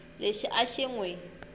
lexi a xi n wi